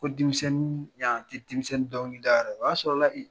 Ko denmisɛnnin yan tɛ denmisɛnnin dnkilida yɔrɔ o y'a sɔrɔla la